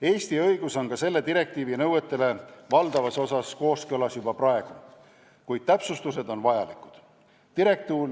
Eesti õigus on ka selle direktiivi nõuetega juba praegu valdavas osas kooskõlas, kuid täpsustused on vajalikud.